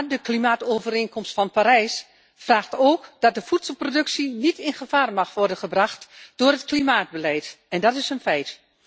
Maar de klimaatovereenkomst van Parijs vraagt ook dat de voedselproductie niet in gevaar mag worden gebracht door het klimaatbeleid en dat is een feit.